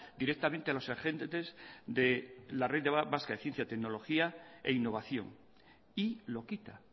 directamente a los agentes de la red vasca de ciencia tecnología e innovación y lo quita